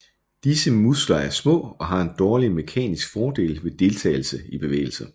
Disse muskler er små og har en dårlig mekaniske fordel ved deltagelse i bevægelse